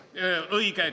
Õige!